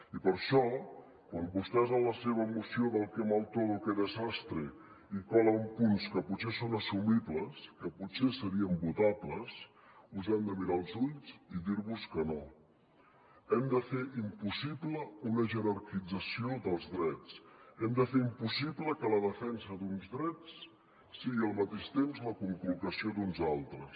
i per això quan vostès en la seva moció del qué mal todo qué desastre hi colen punts que potser són assumibles que potser serien votables us hem de mirar als ulls i dir vos que no hem de fer impossible una jerarquització dels drets hem de fer impossible que la defensa d’uns drets sigui al mateix temps la conculcació d’uns altres